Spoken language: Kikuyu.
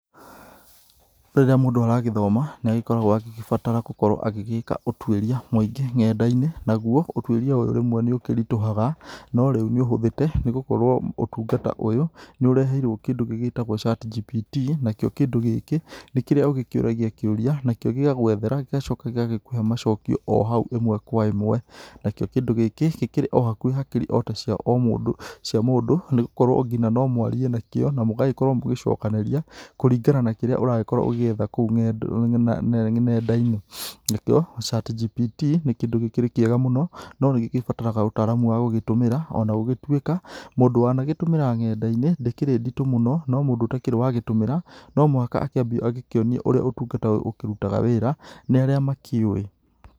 Rĩrĩa mũndũ aragĩthoma nĩ agĩkoragwo agĩgĩbatara gũkorwo agĩgĩka ũtuĩria mũingĩ nenda-inĩ, naguo ũtuĩria ũyũ rĩmwe nĩ ũkĩritũhaga no rĩu nĩ ũhũthĩte nĩ gũkorwo ũtungata ũyũ nĩ ũreheirwo kĩndũ gĩgĩtagwo chat gpt. Nakĩo kĩndũ gĩkĩ nĩ kĩrĩa ũgĩkĩũragia kĩũria nakĩo gĩgagwethera gĩgacoka gĩgakũhe macokio o hau ĩmwe kwa ĩmwe. Nakĩo kĩndũ gĩkĩ nĩ kĩrĩ hakiri o hakuhĩ ta cia mũndũ o mũndũ nĩgũkorwo ngina no mwarie nakĩo na mũgakorwo mũgĩcokanĩria kũringana na kĩrĩa ũragĩkorwo ũgĩetha kũu nenda-inĩ. Nakĩo chat gpt nĩ kĩndũ gĩkĩrĩ kĩega mũno no nĩ gĩbataraga ũtaramu wa gũgĩtũmĩra ona gũgĩtuĩka mũndũ wanagĩtũmĩra nenda-inĩ ndĩkĩrĩ nditũ mũno no mũndũ ũtakĩrĩ wa gĩtũmĩra no mũhaka akĩambie agĩkĩonio ũrĩa ũtungata ũyũ ũkĩrutaga wĩra nĩ arĩa makĩũwi.